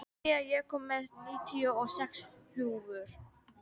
Senía, ég kom með níutíu og sex húfur!